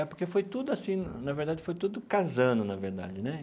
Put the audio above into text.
É, porque foi tudo assim, na verdade, foi tudo casando, na verdade né.